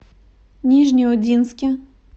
нижнеудинске